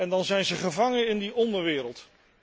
En dan zijn zij gevangen in die onderwereld.